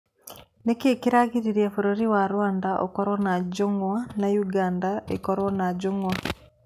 Nĩ kĩĩ kĩragiririe bũrũri wa Rwanda ũkorwo na njũng'wa na Uganda ĩkorwo na njũng'wa?